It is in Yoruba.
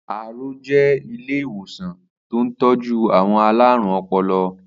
Aro jè ilé iwósàn tó n tọ̀jù awọn àlárún ọpọlọ